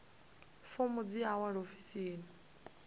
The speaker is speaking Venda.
fomo dzi a wanalea ofisini